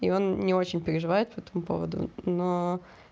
и он не очень переживает по этому поводу но